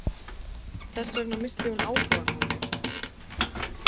Þess vegna missti hún áhugann á mér.